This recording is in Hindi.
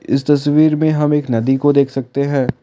इस तस्वीर मे हम एक नदी को देख सकते हैं।